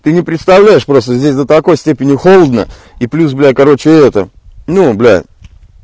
ты не представляешь просто здесь до такой степени холодно и плюс блять короче это ну блять